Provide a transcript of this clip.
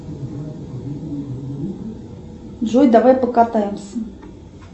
джой давай покатаемся